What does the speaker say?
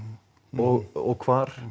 og hvar